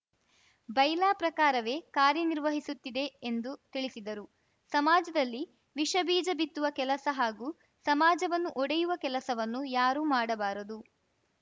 bylaw ಪ್ರಕಾರವೇ ಕಾರ್ಯ ನಿರ್ವಹಿಸುತ್ತಿವೆ ಎಂದು ತಿಳಿಸಿದರು ಸಮಾಜದಲ್ಲಿ ವಿಷ ಬೀಜ ಬಿತ್ತುವ ಕೆಲಸ ಹಾಗೂ ಸಮಾಜವನ್ನು ಒಡೆಯುವ ಕೆಲಸವನ್ನು ಯಾರೂ ಮಾಡಬಾರದು